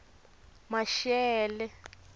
maxele